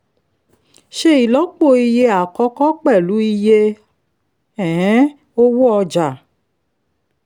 ṣe ìlọ́po iye àkọ́kọ́ pẹ̀lú iye um owó ọjà